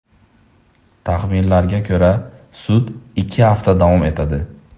Taxminlarga ko‘ra, sud ikki hafta davom etadi.